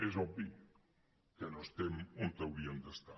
és obvi que no estem on hauríem d’estar